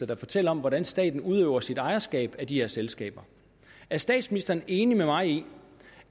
der fortæller om hvordan staten udøver sit ejerskab af de her selskaber er statsministeren enig med mig i